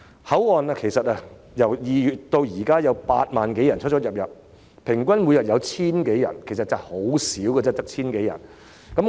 口岸由2月至今共有8萬多人出入境，平均每天只有 1,000 多人，數字其實很少。